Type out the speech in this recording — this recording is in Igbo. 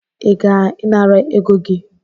I ga-inara ego gi?